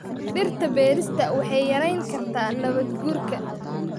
Dhirta beerista waxay yarayn kartaa nabaad guurka.